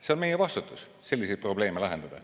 See on meie vastutus selliseid probleeme lahendada.